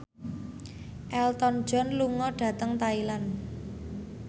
Elton John lunga dhateng Thailand